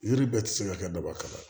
Yiri bɛɛ tɛ se ka kɛ dabakan ye